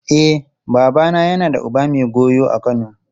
E, babana yana da uba mai goyo a Kano.